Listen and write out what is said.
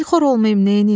Dilxor olmayım neyniyim?